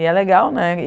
E é legal, né?